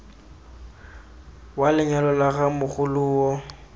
wa lenyalo la ga mogoloo